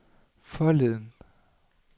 forleden